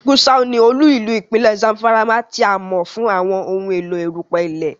Gusau ní olú-ìlú ipinlẹ Zamfara, tí a mọ fún àwọn ohùn èló erupẹ ilẹ